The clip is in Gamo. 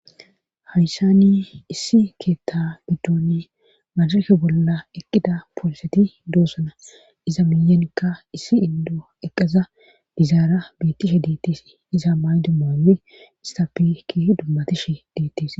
Hayssani issi keetta biddooni maasharke bolla eqqida pooliseti doossana iza miyanikka issi indo eqqasa dizaara biittishe diittis iza maay dumae istapiki dummatishe diittes.